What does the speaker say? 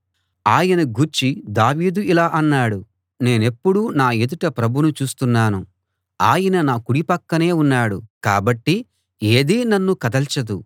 ఆయన గూర్చి దావీదు ఇలా అన్నాడు నేనెప్పుడూ నా ఎదుట ప్రభువును చూస్తున్నాను ఆయన నా కుడి పక్కనే ఉన్నాడు కాబట్టి ఏదీ నన్ను కదల్చదు